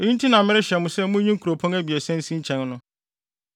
Eyi nti na merehyɛ mo sɛ munyi nkuropɔn abiɛsa nsi nkyɛn no.